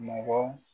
Mɔgɔ